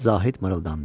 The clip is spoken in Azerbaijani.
Zahid mırıldandı.